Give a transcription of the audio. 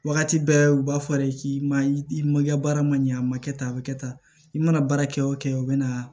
Wagati bɛɛ u b'a fɔ de k'i ma i ma i ka baara ma ɲɛ a ma kɛ tan a bɛ kɛ tan i mana baara kɛ o kɛ o bɛ na